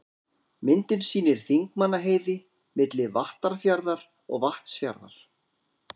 Myndin sýnir Þingmannaheiði, milli Vattarfjarðar og Vatnsfjarðar.